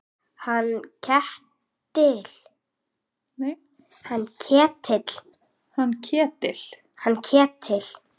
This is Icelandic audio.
Hann Ketil?